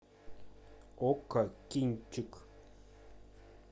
окко кинчик